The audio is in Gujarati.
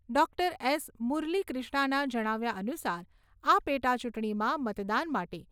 Doctor S. મુરલીક્રિષ્ણાના જણાવ્યા અનુસાર આ પેટાચૂંટણીમાં મતદાન માટે ઇ.વી.એમ.